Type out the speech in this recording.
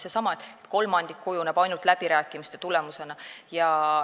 See on seesama asi, et ainult kolmandik kujuneb läbirääkimiste tulemusena.